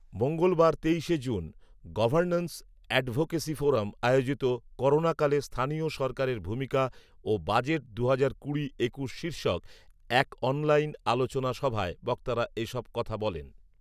মঙ্গলবার তেইশে June ‘governance advocacy forum’ আয়োজিত ‘করোনাকালে স্থানীয় সরকারের ভূমিকা ও বাজেট দুহাজার কুড়ি একুশ’ শীর্ষক এক অনলাইন আলোচনা সভায় বক্তারা এসব কথা বলেন